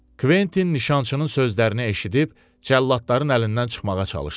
Kventin nişançının sözlərini eşidib, cəlladların əlindən çıxmağa çalışdı.